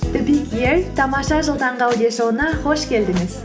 тамаша жыл таңғы аудиошоуына қош келдіңіз